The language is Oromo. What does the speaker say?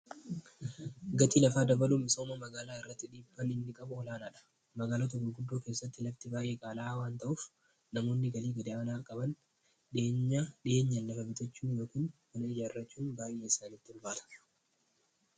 gatii lafaa dabalhumi sooma magaalaa irratti dhiibban inni qabu olaanaa dha magaala tako guddoo keessatti labti baayee qaalaaaawaan ta'uuf namoonni galii gadayaanaar qaban dhi'eenyan lafa bitachuu yookiin mana ijaarrachuun baay'ee isaanitti ulbaata